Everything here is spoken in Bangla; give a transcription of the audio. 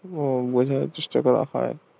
বোঝানো চেষ্টা করা হয়